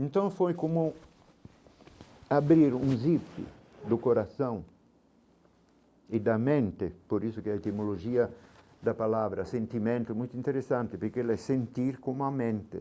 Então foi como abrir um zipe do coração e da mente, por isso que é a etimologia da palavra, sentimento muito interessante, porque ele é sentir como a mente.